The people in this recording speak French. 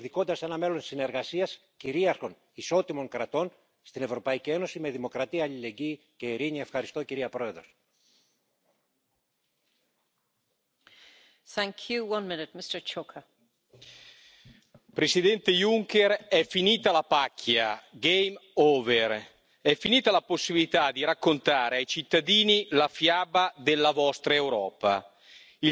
Nous avons eu une Commission qui aura sacrifié nos agriculteurs et nos territoires sur l'autel du libre échange, bafoué la question de l'égalité entre les femmes et les hommes et mis en danger la santé de millions de citoyens européens en n'appliquant pas le principe de précaution, que ce soit sur le glyphosate, les perturbateurs endocriniens ou encore les OGM. Et ce n'est pas le cadre financier pluriannuel, sans vision et sans ambition, que vous nous proposez, qui va modifier